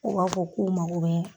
U b'a fɔ k'u mago bɛ